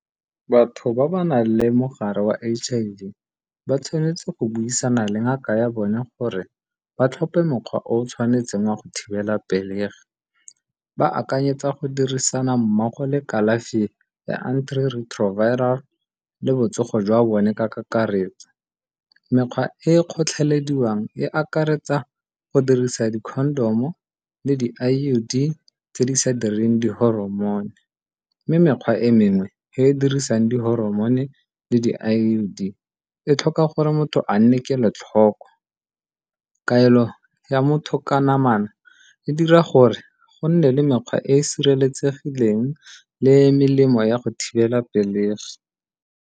Batho ba ba nang le mogare wa H_I_V ba tshwanetse go buisana le ngaka ya bone gore ba tlhope mokgwa o tshwanetseng wa go thibela pelegi ba akanyetsa go dirisana mmogo le kalafi ya antiretroviral le botsogo jwa bone ka kakaretso. Mekgwa e kgotlhelediwang e akaretsa go dirisa di-condom o le di-I_U_D tse di sa direng di-hormone mme mekgwa e mengwe e e dirisang di-hormone le di-I_U_D e tlhoka gore motho a nne kelotlhoko. Kaelo ya motho ka namana e dira gore gonne le mekgwa e e sireletsegileng le melemo ya go thibela pelegi.